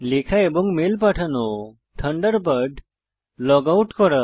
লেখা এবং মেল পাঠানো থান্ডারবার্ড লগ আউট করা